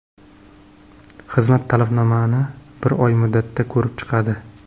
Xizmat talabnomani bir oy muddatda ko‘rib chiqadi.